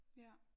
Ja